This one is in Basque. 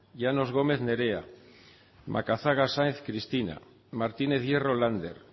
llanos gómez nerea macazaga sáenz cristina martínez hierro lander